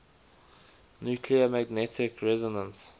nuclear magnetic resonance